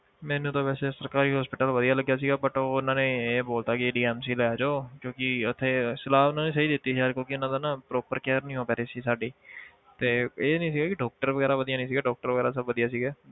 ਮੈਨੂੰ ਤਾਂ ਵੈਸੇ ਸਰਕਾਰੀ hospital ਵਧੀਆ ਲੱਗਿਆ ਸੀਗਾ but ਉਹ ਉਹਨਾਂ ਨੇ ਇਹ ਬੋਲ ਦਿੱਤਾ ਕਿ DMC ਲੈ ਜਾਓ ਕਿਉਂਕਿ ਉੱਥੇ ਸਲਾਹ ਉਹਨਾਂ ਨੇ ਸਹੀ ਦਿੱਤੀ ਸੀ ਯਾਰ ਕਿਉਂਕਿ ਇਹਨਾਂ ਦਾ ਨਾ proper care ਨੀ ਹੋ ਪਾ ਰਹੀ ਸੀ ਸਾਡੀ ਤੇ ਇਹ ਨੀ ਸੀ ਕਿ doctor ਵਗ਼ੈਰਾ ਵਧੀਆ ਨੀ ਸੀਗੇ doctor ਵਗ਼ੈਰਾ ਸਭ ਵਧੀਆ ਸੀਗੇ